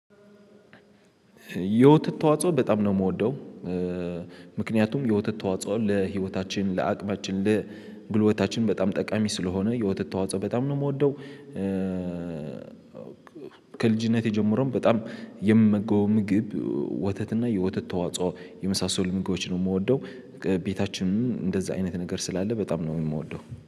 የውትት ተዋጽኦ በጣም ነው የምወደው። ምክንያቱም የውትት ተዋጽኦ ለህይወታችን ለአቅማችን ለጉልበታችን በጣም ጠቃሚ ስለሆነ የወተት ተዋጽኦ በጣም ነው የምወደው። ከልጅነቴ ጀምሮም በጣም የሚመገበው ምግብ ወተት እና የወተት ተዋጽኦ የመሳሰሉ ምግቦችን ነው የምወደው። ቤታችንም እንደዛ አይነት ነገር ስላለ በጣም ነው የምወደው